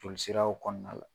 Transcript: Joli siraw kɔɔna la